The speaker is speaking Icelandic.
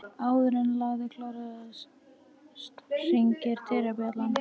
Áður en lagið klárast hringir dyrabjallan.